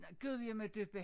Gudjimmadøppa